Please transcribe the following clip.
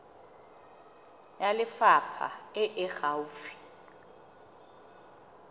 ya lefapha e e gaufi